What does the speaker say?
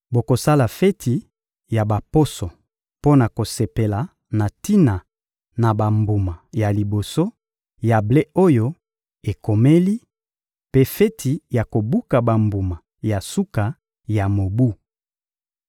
Bokosala feti ya Baposo mpo na kosepela na tina na bambuma ya liboso ya ble oyo ekomeli, mpe feti ya kobuka bambuma na suka ya mobu.